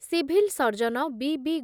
civil surgeon ବି ବି